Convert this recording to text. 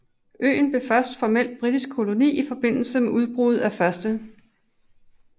Øen blev først formelt britisk koloni i forbindelse med udbruddet af 1